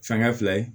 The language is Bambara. Fɛnkɛ fila ye